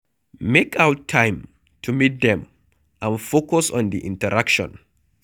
Make out time to meet them and focus on di interaction